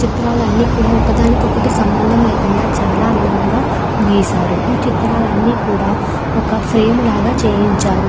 ఈ చిత్రాలు అన్నీ కూడ ఒకదానికి ఒకటి సంబంధం లేకుండా చాల అందంగా గీశారు ఈ చిత్రాలన్నీ కూడా ఒక ఫ్రేమ్ లాగా చేయించారు.